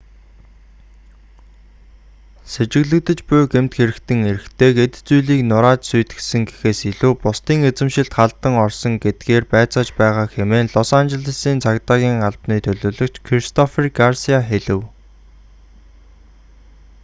сэжиглэгдэж буй гэмт хэрэгтэн эрэгтэйг эд зүйлийг нурааж сүйтгэсэн гэхээс илүү бусдын эзэмшилд халдан орсон гэдгээр байцааж байгаа хэмээн лос анжелесийн цагдаагийн албаны төлөөлөгч кристофер гарсиа хэлэв